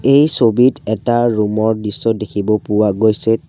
এই ছবিত এটা ৰুম ৰ দৃশ্য দেখিব পোৱা গৈছে।